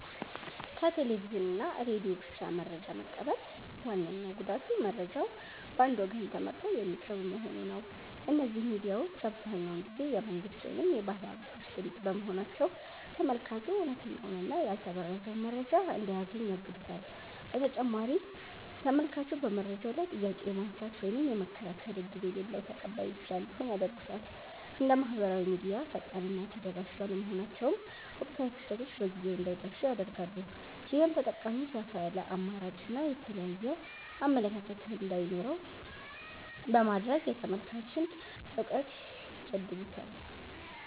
ከቴሌቪዥን እና ሬዲዮ ብቻ መረጃ መቀበል ዋነኛው ጉዳቱ መረጃው በአንድ ወገን ተመርጦ የሚቀርብ መሆኑ ነው። እነዚህ ሚዲያዎች አብዛኛውን ጊዜ የመንግሥት ወይም የባለሃብቶች ድምፅ በመሆናቸው፤ ተመልካቹ እውነተኛውንና ያልተበረዘውን መረጃ እንዳያገኝ ያግዱታል። በተጨማሪም ተመልካቹ በመረጃው ላይ ጥያቄ የማንሳት ወይም የመከራከር ዕድል የሌለው ተቀባይ ብቻ እንዲሆን ያደርጉታል። እንደ ማኅበራዊ ሚዲያ ፈጣንና ተደራሽ ባለመሆናቸውም፣ ወቅታዊ ክስተቶች በጊዜው እንዳይደርሱን ያደርጋሉ። ይህም ተጠቃሚው ሰፋ ያለ አማራጭና የተለያየ አመለካከት እንዳይኖረው በማድረግ የተመልካችን እውቀት ይገድቡታል።